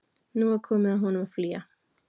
Nú var komið að honum að flýja.